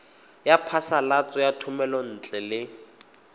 ya phasalatso ya thomelontle le